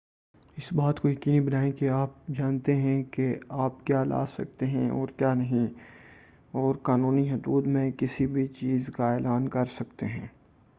اس بات کو یقینی بنائیں کہ آپ جانتے ہیں کہ آپ کیا لا سکتے ہیں اور کیا نہیں اور قانونی حدود میں کسی بھی چیز کا اعلان کرسکتے ہیں